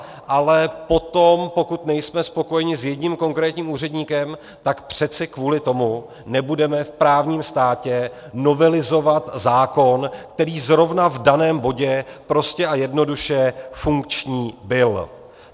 Ale potom, pokud nejsme spokojeni s jedním konkrétním úředníkem, tak přece kvůli tomu nebudeme v právním státě novelizovat zákon, který zrovna v daném bodě prostě a jednoduše funkční byl.